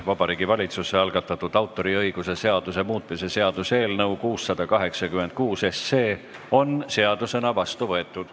Vabariigi Valitsuse algatatud autoriõiguse seaduse muutmise seaduse eelnõu 686 on seadusena vastu võetud.